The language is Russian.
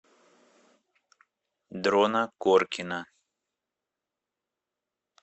дрона коркина